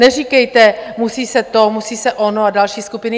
Neříkejte, musí se to, musí se ono a další skupiny.